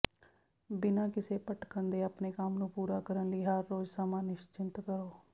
ਬਿਨਾਂ ਕਿਸੇ ਭਟਕਣ ਦੇ ਆਪਣੇ ਕੰਮ ਨੂੰ ਪੂਰਾ ਕਰਨ ਲਈ ਹਰ ਰੋਜ਼ ਸਮਾਂ ਨਿਸ਼ਚਿੰਤ ਕਰੋ